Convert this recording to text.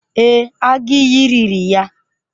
Ee, agụ iyi riri ya.